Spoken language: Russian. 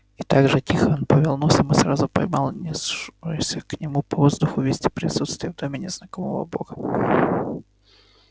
и так же тихо он повёл носом и сразу поймал нёсшуюся к нему по воздуху весть о присутствии в доме незнакомого бога